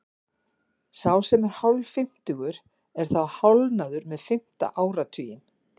Sá sem er hálffimmtugur er þá hálfnaður með fimmta áratuginn.